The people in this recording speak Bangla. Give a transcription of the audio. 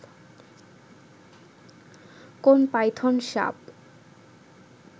কোন পাইথন সাপ